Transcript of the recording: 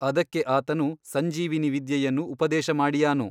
ಅದಕ್ಕೆ ಆತನು ಸಂಜೀವಿನೀ ವಿದ್ಯೆಯನ್ನು ಉಪದೇಶ ಮಾಡಿಯಾನು.